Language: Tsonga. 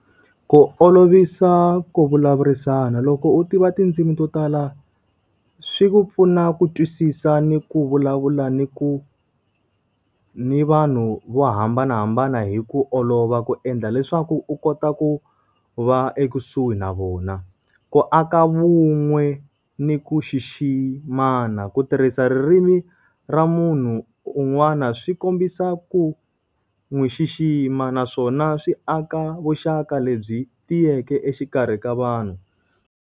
Ku olovisa ku vulavurisana loko u tiva tindzimi to tala, swi pfuna ku twisisa ni ku vulavula ni ku, ni vanhu vo hambanahambana hi ku olova ku endla leswaku u kota ku va ekusuhi na vona. Ku aka vun'we ni ku xiximana. Ku tirhisa ririmi ra munhu un'wana swi kombisa ku n'wi xixima naswona swi aka vuxaka lebyi tiyeke exikarhi ka vanhu.